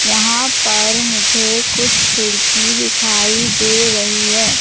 यहां पर मुझे कुछ खिड़की दिखाई दे रही है।